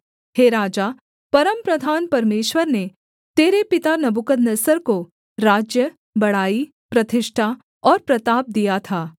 हे राजा परमप्रधान परमेश्वर ने तेरे पिता नबूकदनेस्सर को राज्य बड़ाई प्रतिष्ठा और प्रताप दिया था